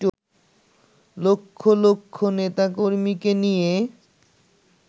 লক্ষ লক্ষ নেতাকর্মীকে নিয়ে